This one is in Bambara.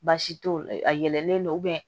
Baasi t'o la a yɛlɛnlen don